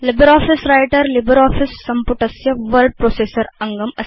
LibreOffice Writer LibreOffice सम्पुटस्य word processor अङ्गम् अस्ति